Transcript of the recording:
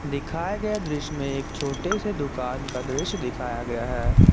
दिखाया गया दृश्य में एक छोटे से दुकान का दृश्य दिखाया गया है।